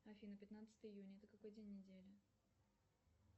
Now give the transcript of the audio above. афина пятнадцатое июня это какой день недели